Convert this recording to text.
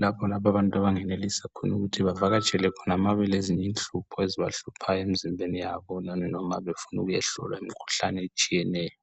lapho abantu abangenelisa ukuthi bavakatshele khona ma belezinye inhlupho ezibahluphayo emizimbeni yabo kanye noma befuna ukuyahlolwa imikhuhlane etshiyeneyo.